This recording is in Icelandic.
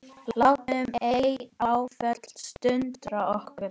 Látum ei áföllin sundra okkur.